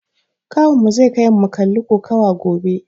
Kawunmu zai kaimu mu kalli kokawa gobe.